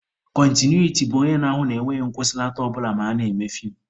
Kọntinuiti bụ onye na-ahụ na enweghị nkwụsịlata ọ bụla ma a na-eme feem.